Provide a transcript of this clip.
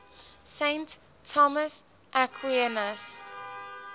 saint thomas aquinas